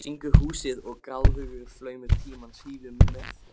Syngur húsið og gráðugur flaumur tímans hrífur mig með.